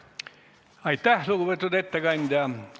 Aitäh, lugupeetud ettekandja!